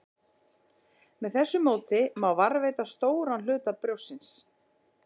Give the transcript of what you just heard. Með þessu móti má varðveita stóran hluta brjóstsins.